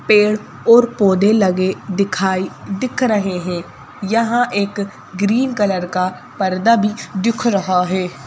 पेड़ और पौधे लगे दिखाई दिख रहे हैं यहां एक ग्रीन कलर का पर्दा भी दिख रहा है।